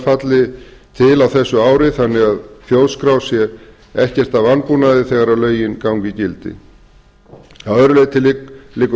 falli til á þessu ári þannig að þjóðskrá sé ekkert að vanbúnaði þegar lögin ganga í gildi að öðru leyti liggur